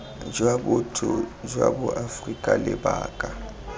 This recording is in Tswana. jwa botho jwa boaforika lebaka